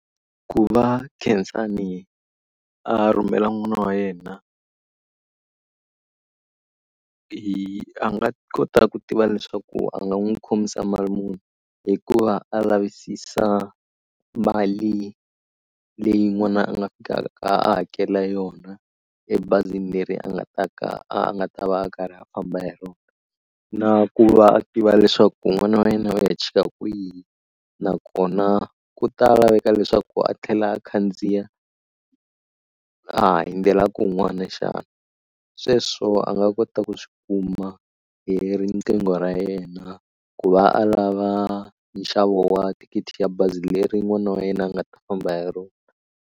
Ku va Khensani a rhumela n'wana wa yena hi a nga kota ku tiva leswaku a nga n'wi khomisa mali muni hikuva a lavisisa mali leyi n'wana a nga fikaka a hakela yona ebazini leri a nga ta ka a nga ta va a karhi a famba hi rona na ku va a tiva leswaku n'wana wa yena u ya chika kwihi nakona ku ta laveka leswaku a tlhela a khandziya a ha hundzela kun'wana xana. Sweswo a nga kota ku swi kuma hi riqingho ra yena ku va a lava nxavo wa thikithi ya bazi leri n'wana wa yena a nga ta famba hi rona.